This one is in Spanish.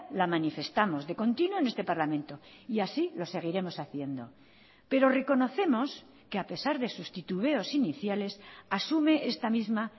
la manifestamos de continuo en este parlamento y así lo seguiremos haciendo pero reconocemos que a pesar de sus titubeos iniciales asume esta misma